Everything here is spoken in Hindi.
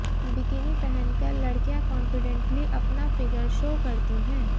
बिकिनी पहनकर लड़कियां कॉन्फिडेंटली अपना फीगर शो करती हैं